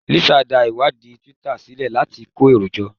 Lisa dá ìwádìí Twitter sílẹ̀ láti kó èrò jọ